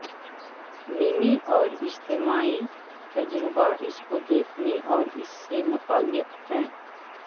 میمی اور اجتماعی تجربہ اس کو دیکھنے اور اس سے متعلق ہے